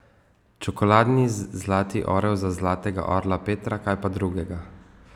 Čokoladni zlati orel za zlatega orla Petra, kaj pa drugega!